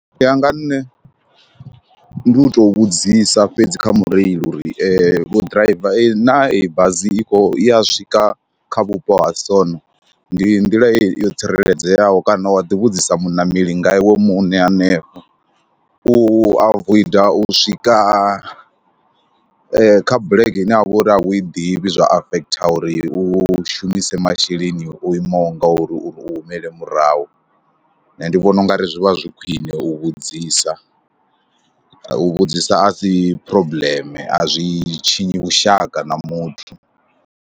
U ya nga nṋe ndi u tou vhudzisa fhedzi kha mureili uri vhoḓiraiva naa eyi bazi i khou, ya swika kha vhupo ha sona, ndi nḓila yo tsireledzeaho kana wa ḓi vhudzisa muṋameli nga iwe muṋe hanefho, u avoida u swika kha bulege ine ya vha uri a i ḓivhi zwa afekhotha uri u shumise masheleni o imaho ngauri uri u humele murahu. Nṋe ndi vhona u nga ri zwi vha zwi khwine u vhudzisa, u vhudzisa a si phurobuḽeme a zwi tshinyi vhushaka na muthu.